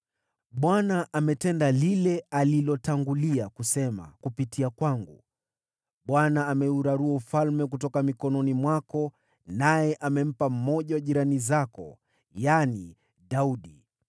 Bwana ametenda lile alilotangulia kusema kupitia kwangu. Bwana ameurarua ufalme kutoka mikononi mwako, naye amempa mmoja wa jirani zako, yaani Daudi.